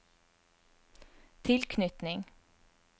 tilknytning